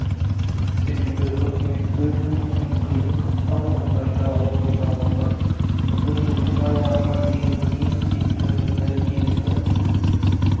себебі үкімет өз жұмысын қиын-қыстау жағдайда орындап отыр бүгін жылдың аяғына дейін не істейтінімізді келісіп